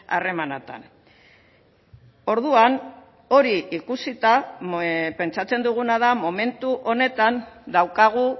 harremanetan orduan hori ikusita pentsatzen duguna da momentu honetan daukagu